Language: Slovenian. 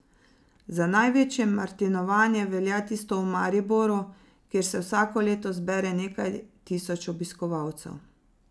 Za največje martinovanje velja tisto v Mariboru, kjer se vsako leto zbere nekaj tisoč obiskovalcev.